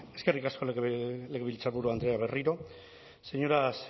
eskerrik asko legebiltzarburu andrea berriro señoras